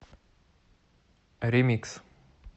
ремикс